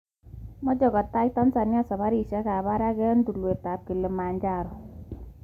Mt Kilimanjaro: Meche kotai Tanzania safarisiek ab parak eng milamanoto.